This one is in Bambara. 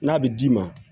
N'a bɛ d'i ma